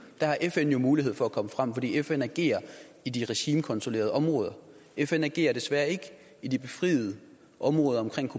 der har fn jo mulighed for at komme frem fordi fn agerer i de regimekontrollerede områder fn agerer desværre ikke i de befriede områder omkring